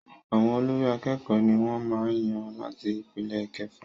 Àwọn olórí àkẹ́kọ̀ọ ní wọ́n màá n yàn láti ipele ìkẹfà.